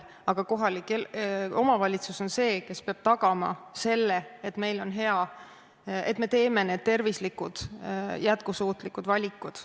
Aga kohalik omavalitsus on see, kes peab tagama, et meil on hea, et me teeme tervislikud jätkusuutlikud valikud.